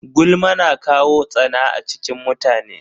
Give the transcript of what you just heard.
Gulma na kawo tsana a cikin mutane.